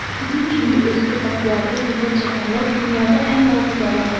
Bizim kimi özgə qapılarda zillət çəkənlər dünyada ən yalqız adamlardır.